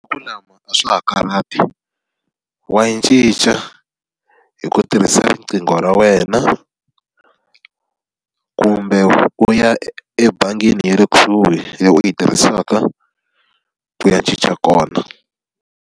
wa yi cinca hi ku tirhisa riqingho ra wena, kumbe u ya ebangini ya le kusuhi leyi u yi tirhisaka ku ya cinca kona.